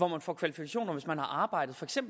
man får kvalifikationer hvis man har arbejdet